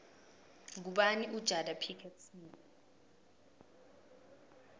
ngubani ujada pickett smith